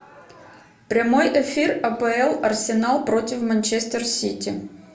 прямой эфир апл арсенал против манчестер сити